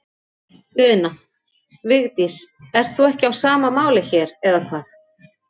Una: Vigdís, þú ert ekki á sama máli hér, eða hvað?